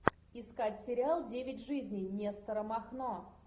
искать сериал девять жизней нестора махно